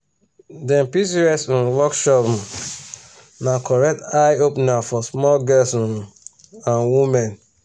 dem pcos um workshop um na correct eye opener for small girls um and women.